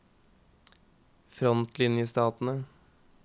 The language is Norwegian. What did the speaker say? frontlinjestatene